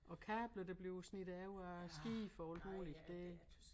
Og kabler der bliver snittet over af skibe og alt muligt det